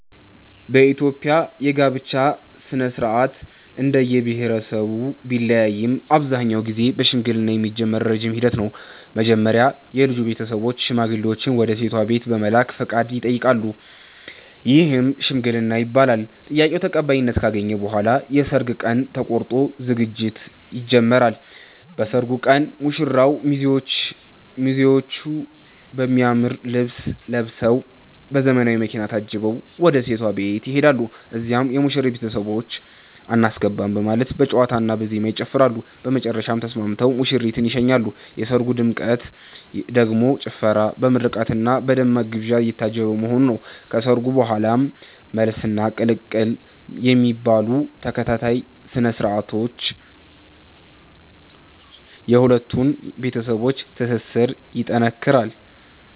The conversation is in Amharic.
በኢትዮጵያ የጋብቻ ሥነ-ሥርዓት እንደየብሄረሰቡ ቢለያይም አብዛኛውን ጊዜ በሽምግልና የሚጀምር ረጅም ሂደት ነው። መጀመሪያ የልጁ ቤተሰቦች ሽማግሌዎችን ወደ ሴቷ ቤት በመላክ ፈቃድ ይጠይቃሉ፤ ይህም "ሽምግልና" ይባላል። ጥያቄው ተቀባይነት ካገኘ በኋላ የሰርግ ቀን ተቆርጦ ዝግጅት ይጀምራል። በሰርጉ ቀን ሙሽራውና ሚዜዎቹ በሚያምር ልብስ ለብሰዉ፤ በዘመናዊ መኪና ታጅበው ወደ ሴቷ ቤት ይሄዳሉ። እዚያም የሙሽሪት ቤተሰቦች "አናስገባም " በማለት በጨዋታና በዜማ ይጨፍራሉ፤ በመጨረሻም ተስማምተው ሙሽሪትን ይሸኛሉ። የሰርጉ ድምቀት ደግሞ ጭፈራ፣ በምርቃትና በደማቅ ግብዣ የታጀበ መሆኑ ነው። ከሰርጉ በኋላም "መልስ" እና "ቅልቅል" የሚባሉ ተከታታይ ስነ-ስርዓቶች የሁለቱን ቤተሰቦች ትስስር ይጠነክራል።